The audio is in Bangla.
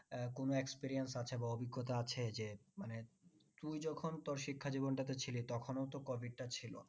আহ কোনো experience আছে বা অভিজ্ঞতা আছে যে মানে তুই যখন তোর শিক্ষা জীবনটাতে ছিলিস তখনও তো covid টা ছিল